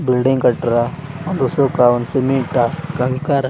Building ಕಟ್ಟ್ರ ಒಂದು ಉಸುಕ್ ಒಂದು ಸಿಮೆಂಟ್ ಕಂಕರ್ .